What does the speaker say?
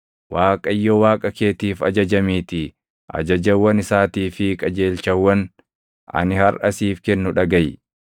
Waaqayyo Waaqa keetiif ajajamiitii ajajawwan isaatii fi qajeelchawwan ani harʼa siif kennu dhagaʼi.”